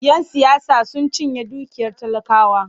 Yan siyasa sun cinye dukiyar talakawa.